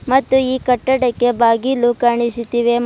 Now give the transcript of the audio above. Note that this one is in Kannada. ಮತ್ತು ಈ ಕಟ್ಟಡಕ್ಕೆ ಬಾಗಿಲು ಕಾಣಿಸುತ್ತಿವೆ ಮತ್--